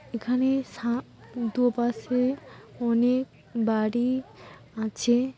এখানে সাপ। দুপাশে অনেক বাড়ি আছে।